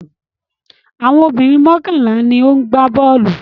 Àwọn obìnrin mọ́kànlá ni ó ń gbá bọ́ọ́lù.